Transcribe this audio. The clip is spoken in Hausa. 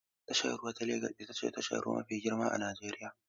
Tashar ruwa ta Legas ita ce tashar ruwa mafi girma a Najeriya.